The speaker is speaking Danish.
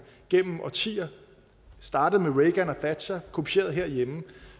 gennem årtier startende med reagan og thatcher og kopieret herhjemme